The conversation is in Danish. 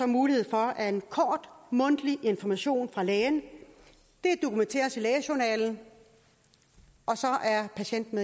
mulighed for at en kort mundtlig information fra lægen dokumenteres i lægejournalen og så er patienten